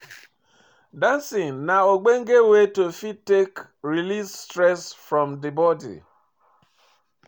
Dancing na ogbonge way to fit take release stress from di body